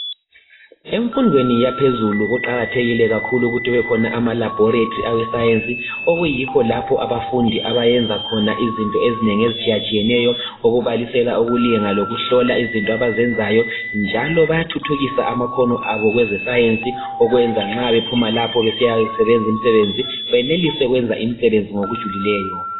Emfundweni yaphezulu kuqakathekile ukuba kube khona amalabholetari awescience okuyikho lapha abafundi abayenzakhona izinto ezinengi ezitshiyatshiyeneyo okubalisela ukulinga lokuhlola izinto abazenzayo njalo bayathuthukisa amakhono abo kwezesayensi okwenza nxa bephuma lapho besiyadinga imisebenzi beyenelise ukusebenza ngokujulileyo.